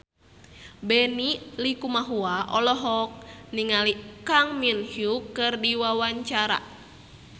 Benny Likumahua olohok ningali Kang Min Hyuk keur diwawancara